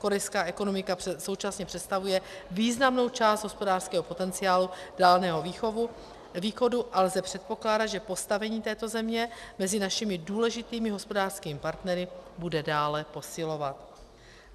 Korejská ekonomika současně představuje významnou část hospodářského potenciálu Dálného východu a lze předpokládat, že postavení této země mezi našimi důležitými hospodářskými partnery bude dále posilovat.